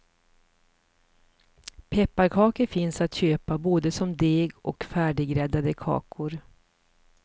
Pepparkakor finns att köpa både som deg och färdiggräddade kakor.